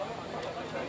Nə bilirsən?